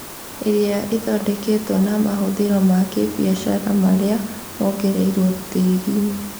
ĩrĩa ĩthondeketwo na mahũthĩro ma kĩbiacara marĩa mongereirwo tĩriinĩ